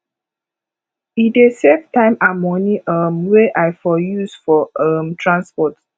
e dey save time and money um wey i for use for um transport